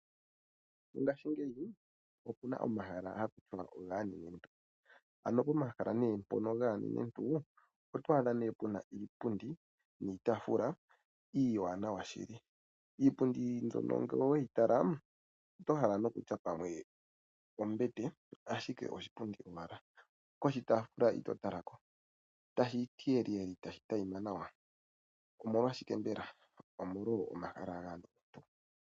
Mongashingeyi opu na omahala haku tiwa ogaanenentu. Pomahala mpono gaanenentu oto adha pu na iipundi niitaafula iiwanawa shili. Iipundi mbyono ngele oweyi tala oto hala okutya pamwe ombete, ashike oshipundi owala. Koshitaafula ito tala ko, tashi ti weliweli tashi tayima nawa. Omolwashike mbela? Omolwa omahala.